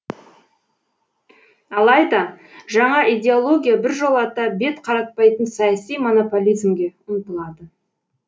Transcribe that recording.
алайда жаңа идеология біржолата бет қаратпайтын саяси монополизмге ұмтылады